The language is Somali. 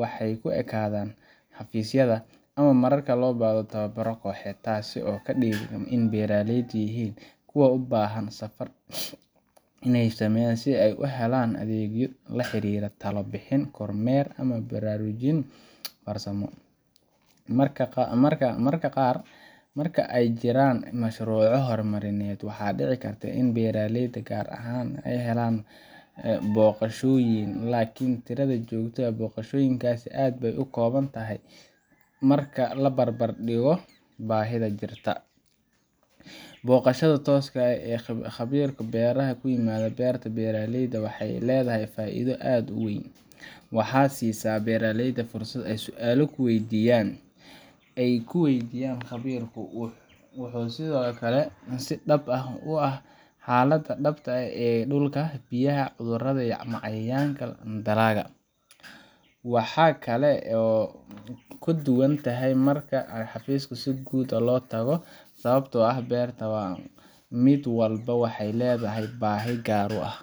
wexey kuekadaa xafiisyada ama mararka loo bahdo toobarada qoohed taasi oo kadigan in beeraleyd yihin kuwa ubaahan safar in ey sameyaan si ey uhelaan adeegyo la xiriira talo bixin, korneer ama baraarujin farsamo. Marka qaar marka ey jiraan mashuruco hormarineed wexey dici karta in beraaleyda gaar axaan ey helaan boqashooyin lkn tirada jogta ax boqashooyinkasi add bey ukoobantahy marka labarbardigo baahida jirta. Boqashada tooska ex ee qabiirka beeraxa kuimada beerta wexey leedahy faaido aad uweyn. Waxaa siisa beraaleyda fursad ey sualo kuweydiyaan qabiirku. Wuxu sidoo kale si dab ah uah xalada dabta e dulka biyaha cudurada ama cayayaanka andalaaga. Waxaa kale oo kuduwanthy marka ey xafiisku si guud ax loo tago sawabtoo ah beerta wa midwalbo wehey leedahy baahi gaar uax.